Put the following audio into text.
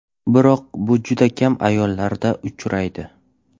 Biroq bu juda kam ayollarda uchraydi.